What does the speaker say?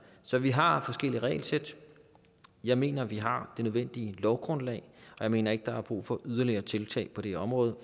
så vi har forskellige regelsæt jeg mener vi har det nødvendige lovgrundlag og jeg mener ikke der er brug for yderligere tiltag på det område